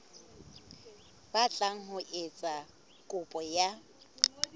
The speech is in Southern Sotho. batlang ho etsa kopo ya